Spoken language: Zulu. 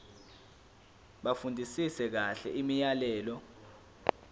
bafundisise kahle imiyalelo